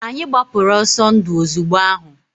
Anyị gbapụrụ ọsọ ndu ozugbo ahụ.